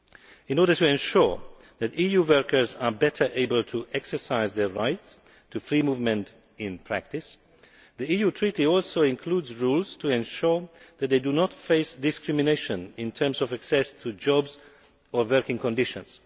In order to ensure that EU workers are better able to exercise their right to free movement in practice, the EU treaty also includes rules to ensure that they do not face discrimination in terms of access to jobs or working conditions.